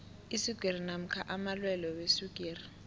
iswigiri namkha amalwelwe weswigiri